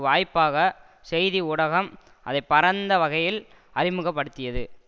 வாய்ப்பாக செய்தி ஊடகம் அதை பரந்த வகையில் அறிமுக படுத்தியது